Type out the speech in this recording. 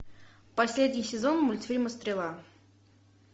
последний сезон мультфильма стрела